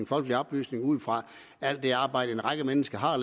folkelig oplysning ud fra alt det arbejde en række mennesker har